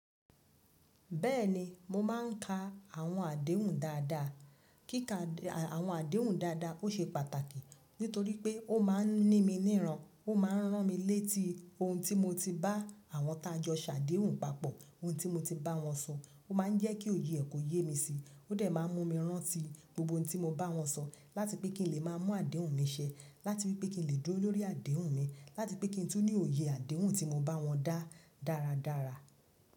Bẹ́ẹ̀ni, mo máà ń ka àwọn àdéhùn dáadáa. Kíka àwọn àdéhùn dáadáa ó ṣe pàtàkì nítorí pé ó máa ń ní mi níran, ó máa ń rán mi létí ohun tí mo ti bá àwọn tájọ̀ ṣàdéhùn papọ̀, ohun tí mo ti bá wọn sọ, ó máa ń jẹ́ kí òye ẹ ko yé mi síi, ó dẹ̀ máa ń mú mi rántí gbogbo ohun tí mo bá wọn sọ láti pé kí n lè má a mú àdéhùn mi ṣẹ, láti wipé kí n lè dúró lórí àdéhùn mi, láti pé kí n tún ní òye àdéhùn tí mo bá wọn dá dáradára.